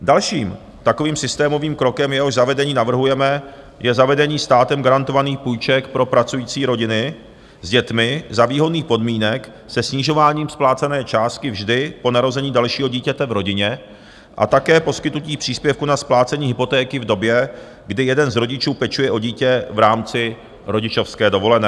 Dalším takovým systémovým krokem, jehož zavedení navrhujeme, je zavedení státem garantovaných půjček pro pracující rodiny s dětmi za výhodných podmínek se snižováním splácené částky vždy po narození dalšího dítěte v rodině a také poskytnutí příspěvku na splácení hypotéky v době, kdy jeden z rodičů pečuje o dítě v rámci rodičovské dovolené.